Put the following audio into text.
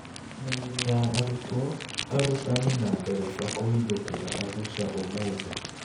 Mĩĩrĩ ya arutwo, arutani, na ndereba kũhithũkĩra Arusha ũmũthĩ